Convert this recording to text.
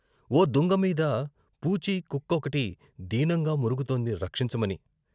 ఓ దుంగ మీద పూచి కుక్కొకటి దీనంగా మొరుగుతోంది రక్షించమని.